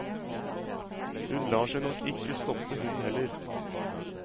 Hun lar seg nok ikke stoppe hun heller.